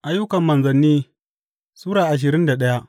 Ayyukan Manzanni Sura ashirin da daya